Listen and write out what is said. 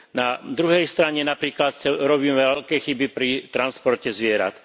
Na druhej strane, napríklad, robíme veľké chyby pri transporte zvierat.